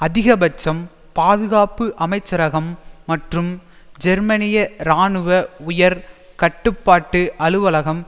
அதிகபட்சம் பாதுகாப்பு அமைச்சரகம் மற்றும் ஜெர்மனிய இராணுவ உயர் கட்டுப்பாட்டு அலுவலகம்